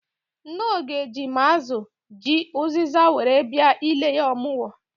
Nne Oge ji ma azụ, ji, ụzịza were bịa ile ya ọmụgwọ.